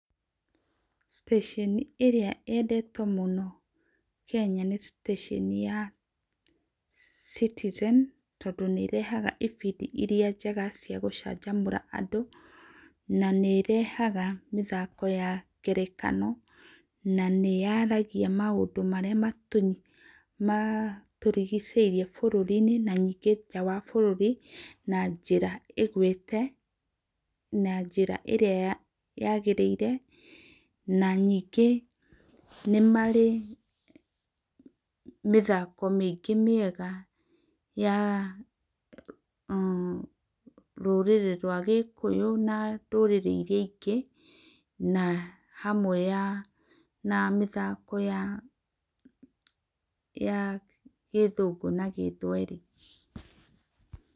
Citesheni ĩrĩa yendetwo mũno Kenya nĩ Citesheni ya Citizen tondũ nĩ ĩrehaga ĩbĩndĩ ĩrĩa njega cia gũcanjamũra andũ, na nĩ ĩrehaga mĩthako ya ngerekano, na nĩ yaaragĩa maũndũ marĩa matũrĩgĩcĩrĩe bũrũrĩ inĩ na nĩnge nja wa bũrũri, na njĩra ĩgũĩte na njĩra ĩrĩa yagĩrĩire na nĩnge nĩ marĩ mĩthako mĩingĩ mĩega ya umm rũrĩrĩ rwa gĩkũyũ na rũrĩrĩ ĩrĩa ingĩ, na hamwe ya na mĩthako ya ya gĩthũngũ na gĩthwerĩ.